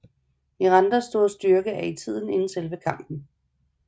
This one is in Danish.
Mirandas store styrke er i tiden inden selve kampen